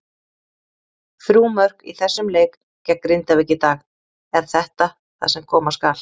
Þrjú mörk í þessum leik gegn Grindavík í dag, er þetta það sem koma skal?